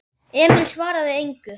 Emil svaraði engu.